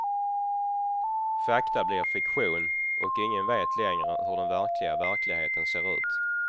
Fakta blir fiktion och ingen vet längre hur den verkliga verkligheten ser ut.